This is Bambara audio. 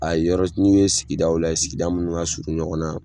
A ye yɔrɔ ɲini sigidaw o la ye sigida mun ka surun ɲɔgɔn na